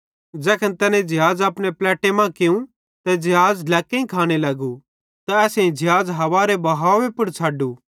ज़ैखन तैने ज़िहाज़ अपने पलैट्टे मां कियूं ते ज़िहाज़ ढ्लैक्कां खाने लगू ते असेईं ज़िहाज़ हावारे बहावे पुड़ छ़डू